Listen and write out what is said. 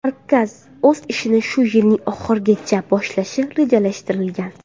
Markaz o‘z ishini shu yilning oxirigacha boshlashi rejalashtirilgan.